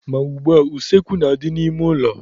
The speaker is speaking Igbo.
Ma ugbua, useekwu na-adị n'ime ụlọ.